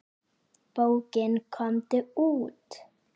Bókin Komdu út!